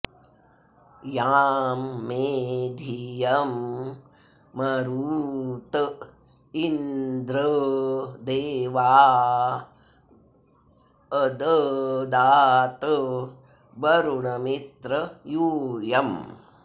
यां मे॒ धियं॒ मरु॑त॒ इन्द्र॒ देवा॒ अद॑दात वरुण मित्र यू॒यम्